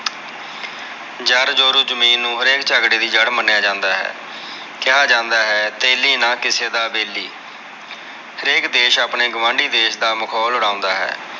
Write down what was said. ਜਦ ਜੋਰੁ ਜਮੀਨ ਨੂੰ ਹਰ ਇਕ ਝਗੜੇ ਦੀ ਜੜ੍ਹ ਮੰਨਿਆ ਜਾਂਦਾ ਹੈ ਕਿਹਾ ਜਾਂਦਾ ਹੈ ਤੇਲੀ ਨਾ ਕਿਸੇ ਦਾ ਬੇਲੀ ਹਰ ਇਕ ਦੇਸ਼ ਆਪਣੇ ਗਵਾਂਢੀ ਦੇਖ ਦਾ ਮਖੌਲ ਉਡਾਉਂਦਾ ਹੈ।